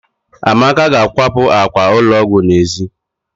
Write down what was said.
Amaka ga-akwapụ àkwà ụlọ ọgwụ n'èzí